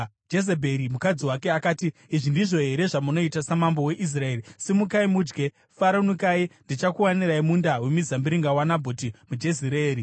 Jezebheri, mukadzi wake akati, “Izvi ndizvo here zvamunoita samambo weIsraeri? Simukai mudye! Faranukai. Ndichakuwanirai munda wemizambiringa waNabhoti muJezireeri.”